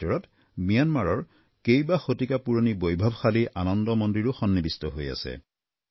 ইয়াৰ ভিতৰত ম্যানমাৰৰ কেইবা শতিকা পুৰণি বৈভৱশালী আনন্দ মন্দিৰো সন্নিৱিষ্ট হৈ আছে